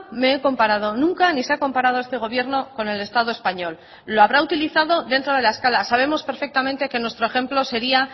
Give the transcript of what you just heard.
me he comparado nunca ni se ha comparado este gobierno con el estado español lo habrá utilizado dentro de la escala sabemos perfectamente que nuestro ejemplo sería